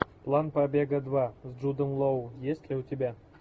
план побега два с джудом лоу есть ли у тебя